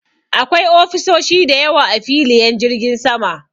Akwai ofisoshi da yawa a filiyen jirgin sama.